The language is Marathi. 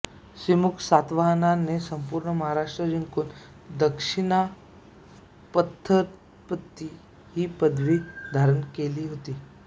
सिमुक सातवाहनाने संपूर्ण महाराष्ट्र जिंकून दक्षिणापथपति ही पदवी धारण केली होती